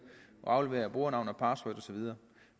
og aflevere brugernavn og password og så videre